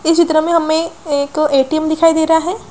इस चित्र में हमें एक ए.टी.एम. दिखाई दे रहा है।